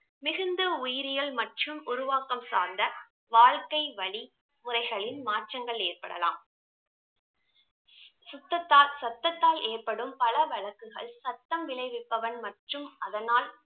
மிகுந்த உயிரியல் மற்றும் உருவாக்கம் சார்ந்த வாழ்க்கை வழி முறைகளின் மாற்றங்கள் ஏற்படலாம் சுத்தத்தால் சத்ததால் ஏற்படும் பல வழக்குகள் சத்தம் விளைவிப்பவன் மற்றும் அதனால்